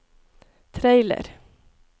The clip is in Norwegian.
trailer